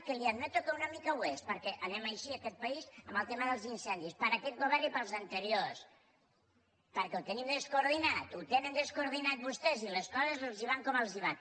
que li admeto que una mica ho és perquè anem així aquest país en el tema dels incendis per aquest govern i per als anteriors perquè ho tenim descoordi·nat ho tenen descoordinat vostès i les coses els van com els van